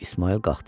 İsmayıl qalxdı.